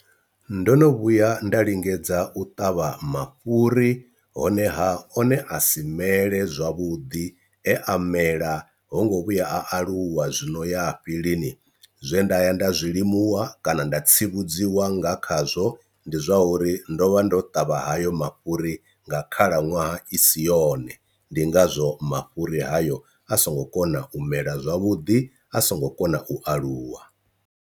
Ndo no vhuya nda lingedza u ṱavha mafhuri honeha one a si mele zwavhuḓi e a mela ho ngo vhuya a aluwa zwino ya lini, zwe nda ya nda zwilimuwa kana nda tsivhudziwa nga khazwo ndi zwa uri ndo vha ndo ṱavha hayo mafhuri nga khalaṅwaha i si yone ndi ngazwo mafhuri hayo a songo kona u mela zwavhuḓi a so ngo kona u aluwa.